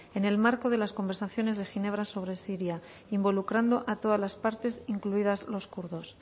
en el marco de las conversaciones de ginebra sobre siria involucrando a todas las partes incluidas los kurdos